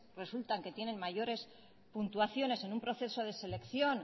resulta que tienen mayores puntuaciones en un proceso de selección